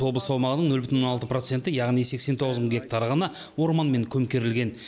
облыс аумағының нөл бүтін он алты проценті яғни сексен тоғыз мың гектары ғана орманмен көмкерілген